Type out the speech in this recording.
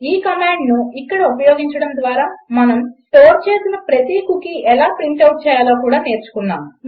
ఈ కమాండ్ను ఇక్కడ ఉపయోగించడం ద్వారా మనం స్టోర్ చేసిన ప్రతి కుకీ ఎలా ప్రింట్ ఔట్ చేయాలో కూడా నేర్చుకున్నాము